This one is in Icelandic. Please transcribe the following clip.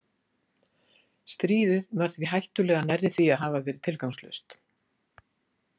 Stríðið var því hættulega nærri því að hafa verið tilgangslaust.